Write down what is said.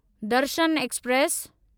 Darshan express